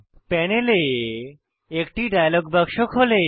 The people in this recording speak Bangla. প্যানেলে একটি ডায়লগ বাক্স খোলে